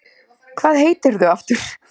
Hvað heitirðu aftur?